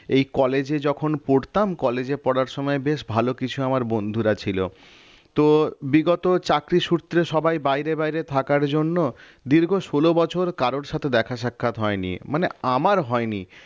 এই college এ যখন পড়তাম college পড়ার সময় বেশ ভালো কিছু আমার বন্ধুরা ছিল তো বিগত চাকরি সূত্রে সবাই বাইরে বাইরে থাকার জন্য দীর্ঘ ষোল বছর কারো সাথে দেখা সাক্ষাৎ হয়নি মানে আমার হয়নি